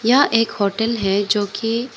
यह एक होटल है जो की--